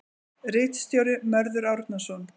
Ritstjóri: Mörður Árnason.